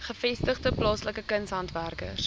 gevestigde plaaslike kunshandwerkers